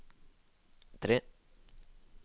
tre